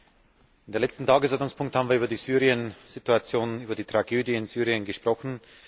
Unter dem letzten Tagesordnungspunkt haben wir über die Syriensituation, über die Tragödie in Syrien gesprochen.